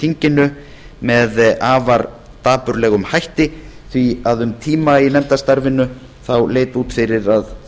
þinginu með afar dapurlegum hætti því að um tíma í nefndarstarfinu leit út fyrir að